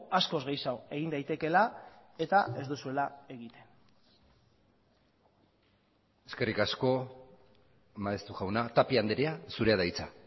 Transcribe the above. askoz gehiago egin daitekeela eta ez duzuela egiten eskerrik asko maeztu jauna tapia andrea zurea da hitza